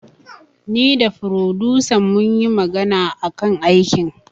Ni da furodusan munyi magana akan aikin